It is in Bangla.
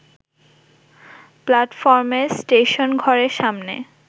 প্ল্যাটফর্মে স্টেশনঘরের সামনে